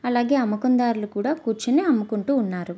అలాగే అమ్మకం దారులు కూడా కూర్చొని అమ్ముకుంటు ఉన్నారు.